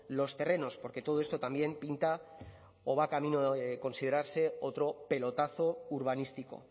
los terrenos porque todo esto también pinta o va camino de considerarse otro pelotazo urbanístico